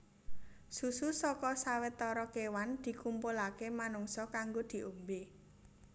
Susu saka sawetara kéwan dikumpulaké manungsa kanggo diombé